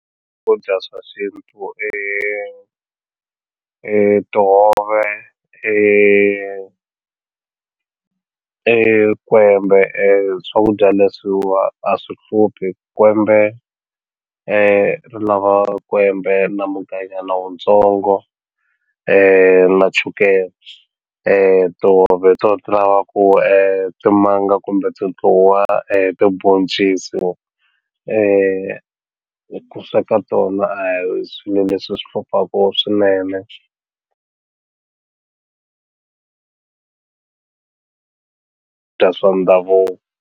Swakudya swa xintu i i tihove i i kwembe swakudya leswiwa a swi hluphi kwembe ri lava kwembe na mugayunyana wuntsongo na chukele tihove hi to ti talaku timanga kumbe tindluwa tibhoncisi ku sweka tona a hi swilo leswi swi hluphaku swinene dya swa ndhavuko.